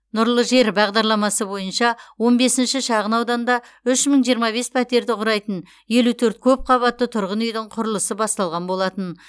нұрлы жер бағдарламасы бойынша он бесінші шағынауданда үш мың жиырма бес пәтерді құрайтын елу төрт көпқабатты тұрғын үйдің құрылысы басталған болатын